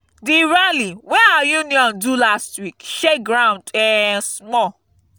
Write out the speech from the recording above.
the rally wey our union do last week shake ground um small